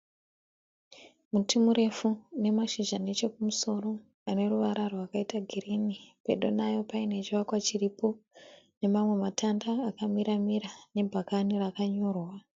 Muti murefu unemashizha nechekumusoro aneruvara rwakaita girini pedo nawo panechivakwa chiripo nemamwe matanda akamiramira nebhakani rakanyorwa.